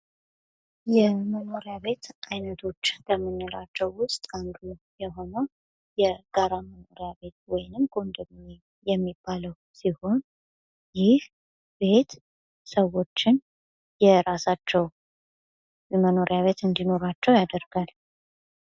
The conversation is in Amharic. የመኖሪያ ቤት አይነቶች ከምንላቸው ውስጥ አንዱ የሆነው የጋራ መኖሪያ ቤት ወይም ኮንዶሚኒየም የሚባለው ሲሆን ይህ ቤት ሰዎችን የራሳቸው የመኖሪያ ቤት እንድኖራቸው ያደርጋል።